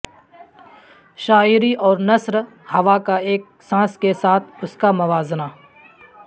شاعری اور نثر ہوا کا ایک سانس کے ساتھ اس کا موازنہ